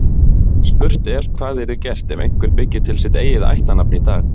Spurt er hvað yrði gert ef einhver byggi til sitt eigið ættarnafn í dag.